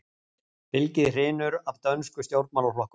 Fylgið hrynur af dönsku stjórnarflokkunum